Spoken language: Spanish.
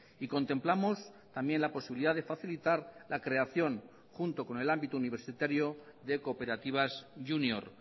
y contemplamos también la posibilidad de facilitar la creación junto con el ámbito universitario de cooperativas júnior